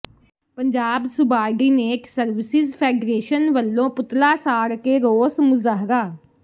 Punjab subordinate services federation ਵਲੋਂ ਪੁਤਲਾ ਸਾੜ ਕੇ ਰੋਸ ਮੁਜ਼ਾਹਰਾ